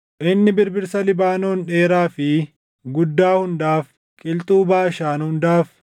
Inni birbirsa Libaanoon dheeraa fi guddaa hundaaf, qilxuu Baashaan hundaaf,